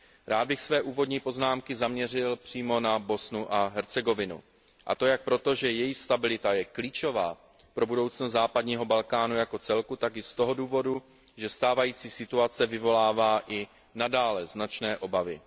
Rád bych své úvodní poznámky zaměřil přímo na Bosnu a Hercegovinu, a to jak proto, že její stabilita je klíčová pro budoucnost západního Balkánu jako celku, tak i z toho důvodu, že stávající situace vyvolává i nadále značné obavy.